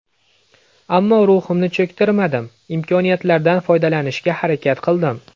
Ammo ruhimni cho‘ktirmadim, imkoniyatlardan foydalanishga harakat qildim.